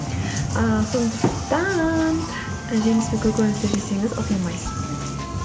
ы сондықтан і жеміс пен көкөністі жесеңіз ұтылмайсыз